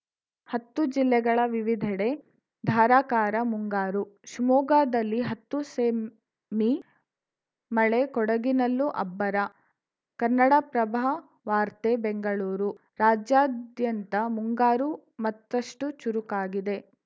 ಹತ್ತು ಜಿಲ್ಲೆಗಳ ವಿವಿಧೆಡೆ ಧಾರಾಕಾರ ಮುಂಗಾರು ಶಿವಮೊಗ್ಗದಲ್ಲಿ ಹತ್ತು ಸೆಂಮೀ ಮಳೆ ಕೊಡಗಿನಲ್ಲೂ ಅಬ್ಬರ ಕನ್ನಡಪ್ರಭ ವಾರ್ತೆ ಬೆಂಗಳೂರು ರಾಜ್ಯಾದ್ಯಂತ ಮುಂಗಾರು ಮತ್ತಷ್ಟುಚುರುಕಾಗಿದೆ